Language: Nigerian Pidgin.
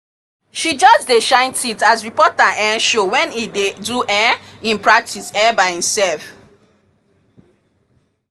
she just dey shine teeth as reporter um show when e dey do um e practice um by e sef